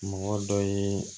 Mɔgɔ dɔ ye